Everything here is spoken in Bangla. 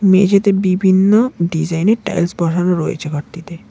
মেঝেতে বিভিন্ন ডিজাইনের টাইলস বসানো রয়েছে ঘরটিতে।